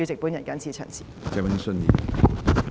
我謹此陳辭。